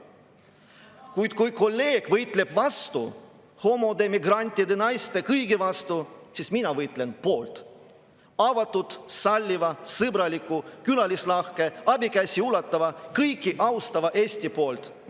Kuid kui kolleeg võitleb vastu, võitleb homode, migrantide, naiste, kõigi vastu, siis mina võitlen poolt – avatud, salliva, sõbraliku, külalislahke, abikätt ulatava, kõiki austava Eesti poolt.